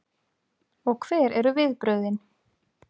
Og hver eru viðbrögðin?